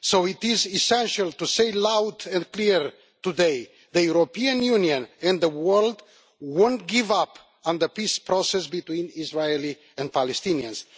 So it is essential to say, loud and clear, today that the European Union and the world will not give up on the peace process between the Israelis and Palestinians.